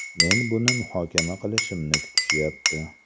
Men buni muhokama qilishimni kutishyapti.